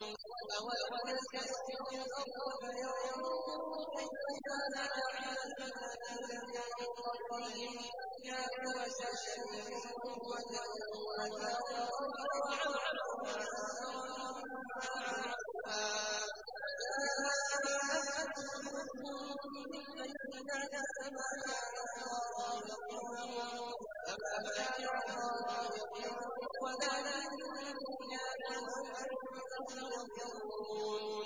أَوَلَمْ يَسِيرُوا فِي الْأَرْضِ فَيَنظُرُوا كَيْفَ كَانَ عَاقِبَةُ الَّذِينَ مِن قَبْلِهِمْ ۚ كَانُوا أَشَدَّ مِنْهُمْ قُوَّةً وَأَثَارُوا الْأَرْضَ وَعَمَرُوهَا أَكْثَرَ مِمَّا عَمَرُوهَا وَجَاءَتْهُمْ رُسُلُهُم بِالْبَيِّنَاتِ ۖ فَمَا كَانَ اللَّهُ لِيَظْلِمَهُمْ وَلَٰكِن كَانُوا أَنفُسَهُمْ يَظْلِمُونَ